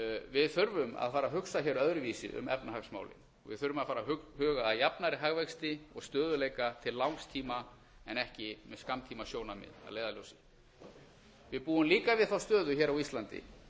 við þurfum að fara að hugsa hér öðruvísi um efnahagsmálin við þurfum að fara að huga að jafnari hagvexti og stöðugleika til langs tíma en ekki með skammtímasjónarmið að leiðarljósi við búum líka við þá stöðu hér á íslandi